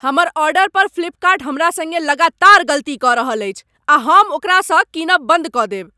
हमर आर्डर पर फ्लिपकार्ट हमरा संगे लगातार गलती कऽ रहल अछि आ हम ओकरा सँ कीनब बन्द कऽ देब।